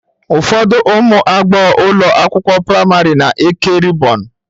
Ụfọdụ ụmụ agbọghọ ụlọ akwụkwọ praịmarị na-eke rịbọn.